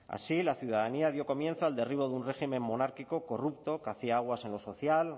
así la ciudadanía dio comienzo al derribo de un régimen monárquico corrupto que hacia aguas en lo social